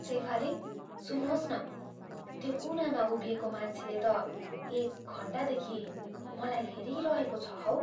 सेफाली, सुन्नुहोस् न, त्यो कुनामा उभिएको मान्छेले त एक घन्टादेखि मलाई हेरिरहेको छ हौ।